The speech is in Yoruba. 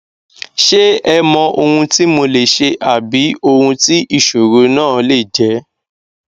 ṣe ẹ mọ ohun tí mo lè ṣe àbí ohun tí ìṣòro náà lè jẹ